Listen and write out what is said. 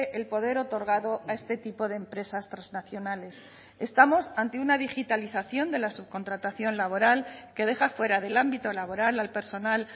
el poder otorgado a este tipo de empresas trasnacionales estamos ante una digitalización de la subcontratación laboral que deja fuera del ámbito laboral al personal